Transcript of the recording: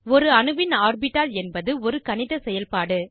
ஒரு அணுவின் ஆர்பிட்டால் என்பது ஒரு கணித செயல்பாடு